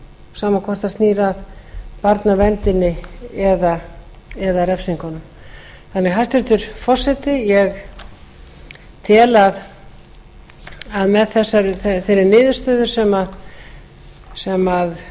sama hvort það snýr að barnaverndinni eða refsingunum hæstvirtur forseti ég tel að með þeirri niðurstöðu sem